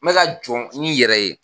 Me ka jɔn ni yɛrɛ ye